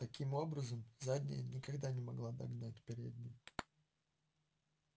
таким образом задняя никогда не могла догнать переднюю